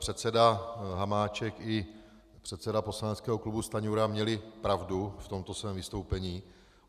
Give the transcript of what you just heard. Předseda Hamáček i předseda poslaneckého klubu Stanjura měli pravdu v tomto svém vystoupení.